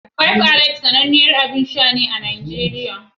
Five Alive sananniyar abin sha ne a Najeriya.